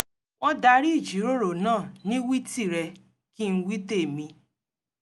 wọ́n darí ìjíròrò náà ní wí tìrẹ - kí-n- wí- tèmi